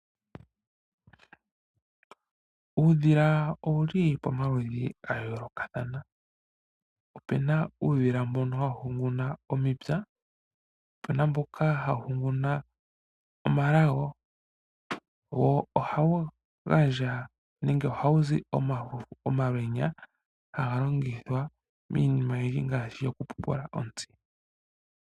Uudhila owuli pamaludhi gayoolokathana. Opuna uudhila mbono hawu hunguna omipya po opuna mboka hawu hunguna omalago wo ohawu gandja nenge ohawu zi omalwenya ngoka haga longithwa miinima oyindji ngaashi oku pupula ontsi.